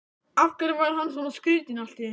Af hverju var hann svona skrýtinn allt í einu?